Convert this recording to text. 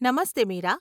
Namaste, Meera.